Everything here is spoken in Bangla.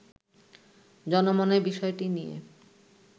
জনমনে বিষয়টি নিয়ে